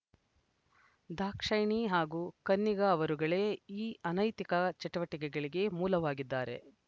ದಾಕ್ಷಾಯಿಣಿ ಹಾಗೂ ಕನ್ನಿಗ ಅವರುಗಳೇ ಈ ಅನೈತಿಕ ಚಟುವಟಿಕೆಗಳಿಗೆ ಮೂಲವಾಗಿದ್ದಾರೆ